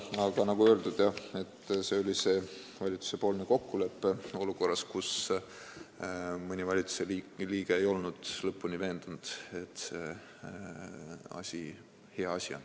Aga nagu öeldud, jah, see oli valitsuse kokkulepe olukorras, kus mõni valitsusliige ei olnud lõpuni veendunud, et see on hea asi.